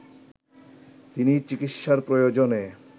তিনি চিকিৎসার প্রয়োজনে